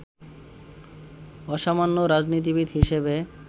অসামান্য রাজনীতিবিদ হিসেবে